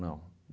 Não.